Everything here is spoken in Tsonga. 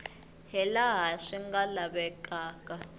hi laha swi nga lavekaka